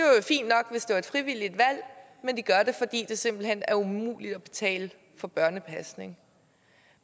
er et frivilligt valg men de gør det fordi det simpelt hen er umuligt at betale for børnepasning